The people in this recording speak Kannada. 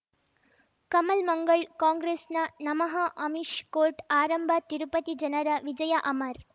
ಕಮಲ್ ಮಂಗಳ್ ಕಾಂಗ್ರೆಸ್ ನ ನಮಃ ಅಮಿಷ್ ಕೋರ್ಟ್ ಆರಂಭ ತಿರುಪತಿ ಜನರ ವಿಜಯ ಅಮರ್